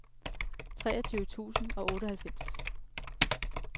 treogtyve tusind og otteoghalvfems